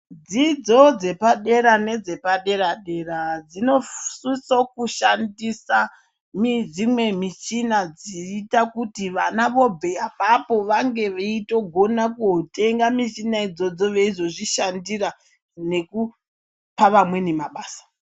Dzidzo dzepadera nedzepadera dera dzinosisa kushandisa dzumwe michina dzoita kuti vana vobva ipapo vange veigona kutenga mishina veizogona kuzvishandira nekupa vamweni mabasa.